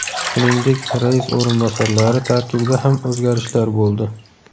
Shuningdek, rais o‘rinbosarlari tarkibida ham o‘zgarishlar bo‘ldi.